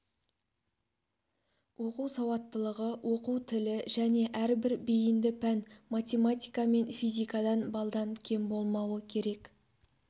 оқу сауаттылығы оқу тілі және әрбір бейінді пән математика мен физикадан балдан кем болмауы керек